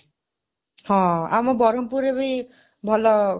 ହଁ, ଆମ ବରହମପୁରରେ ବି ଭଲ